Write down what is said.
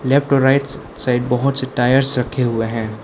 Left और rights side बहुत से टायर्स रखे हुए हैं।